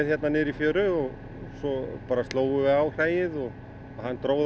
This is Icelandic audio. niður í fjöru svo slógum við á hræið og hann dró það